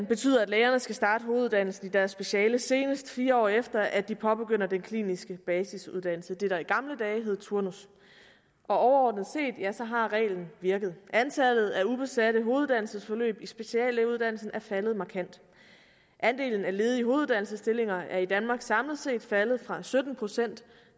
betyder at lægerne skal starte hoveduddannelsen i deres speciale senest fire år efter at de påbegynder den kliniske basisuddannelse det der i gamle dage hed turnus overordnet set har reglen virket antallet af ubesatte hoveduddannelsesforløb i speciallægeuddannelsen er faldet markant andelen af ledige hoveduddannelsesstillinger er i danmark samlet set faldet fra sytten procent